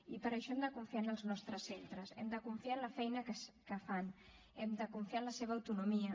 i per això hem de confiar en els nostres centres hem de confiar en la feina que fan hem de confiar en la seva autonomia